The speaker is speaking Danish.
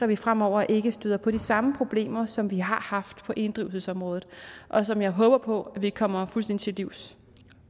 vi fremover ikke støder på de samme problemer som vi har haft på inddrivelsesområdet og som jeg håber vi kommer fuldstændig til livs